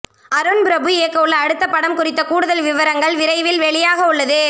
அருண்பிரபு இயக்கவுள்ள அடுத்த படம் குறித்த கூடுதல் விவரங்கள் விரைவில் வெளியாகவுள்ளது